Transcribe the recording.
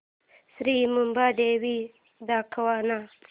श्री मुंबादेवी दाखव ना